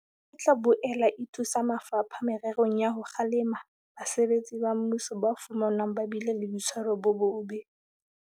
E tla boela e thusa mafapha mererong ya ho kgalema basebetsi ba mmuso ba fumanwang ba bile le boitshwaro bo bobe.